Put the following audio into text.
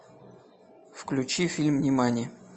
включи фильм нимани